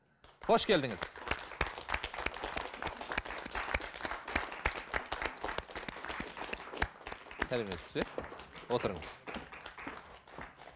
қош келдіңіз сәлеметсіз бе отырыңыз